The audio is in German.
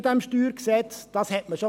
Dies konnte man bisher auch schon.